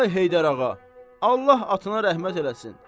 Ay Heydər ağa, Allah atana rəhmət eləsin.